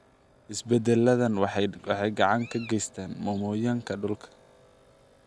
Isbeddeladan waxay gacan ka geysadaan mmomonyoka dhulka.